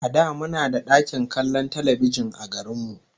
A da muna da ɗakin kallon talbijin a garin mu